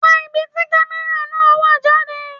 Wá ibi tí camera náà wà jáde.